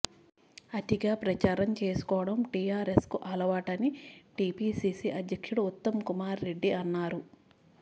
అతిగా ప్రచారం చేసుకోవడం టిఆర్ఎస్కు అలవాటని టిపిసిసి అధ్యక్షుడు ఉత్తమ్కుమార్ రెడ్డి అన్నారు